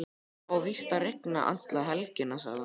Það á víst að rigna alla helgina, sagði hún.